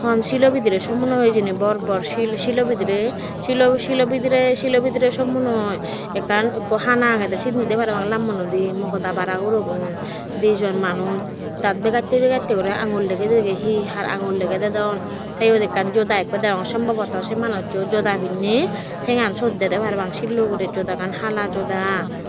hon silo bidirey sommonnoi hijeni bor bor sil silo bidirey silo silo bidirey silo bidirey sommonnoi ekkan ikko hana agedey sinnidi parapang lammonnoidey mogoda bara gurogun dijon manuj daat begattey begattey guri aangul degey degey hi har aangul degey dedon tey iyot ekkan joda ikko degong sombabataw sei manujjo joda pinney tengan syot dedey parapang sillo ugurey jodagan hala joda.